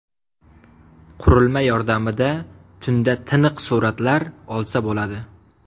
Qurilma yordamida tunda tiniq suratlar olsa bo‘ladi.